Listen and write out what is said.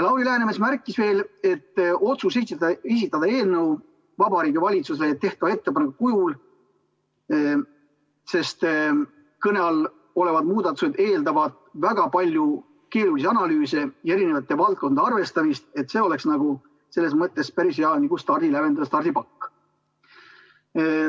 Lauri Läänemets märkis veel, et tehti otsus esitada eelnõu Vabariigi Valitsusele tehtava ettepaneku kujul, sest kõne all olevad muudatused eeldavad väga palju keerulisi analüüse ja eri valdkondade arvestamist ning see oleks selles mõttes päris hea stardipakk.